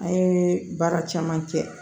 An ye baara caman kɛ